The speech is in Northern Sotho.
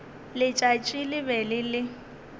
letšatši le be le le